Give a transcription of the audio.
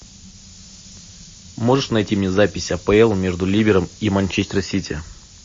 можешь найти мне запись апл между ливером и манчестер сити